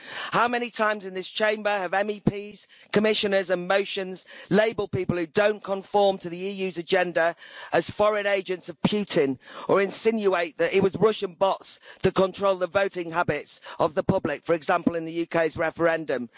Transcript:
How many times in this Chamber have MEPs, Commissioners and motions labelled people who don't conform to the EU's agenda as foreign agents of Putin or insinuate that it was Russian bots that controlled the voting habits of the public, for example in the UK's referendum.